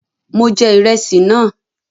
Mọ jẹ ìrẹsì náà.